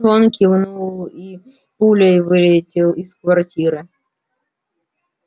он кивнул и пулей вылетел из квартиры